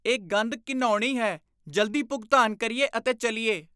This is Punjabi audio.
ਇਹ ਗੰਧ ਘਿਣਾਉਣੀ ਹੈ। ਜਲਦੀ ਭੁਗਤਾਨ ਕਰੀਏ ਅਤੇ ਚੱਲੀਏ ।